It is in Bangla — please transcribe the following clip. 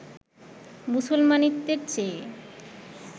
মুসলমানিত্বের চেয়ে